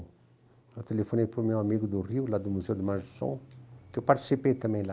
Eu telefonei para o meu amigo do Rio, lá do Museu da Imagem do Som, que eu participei também lá.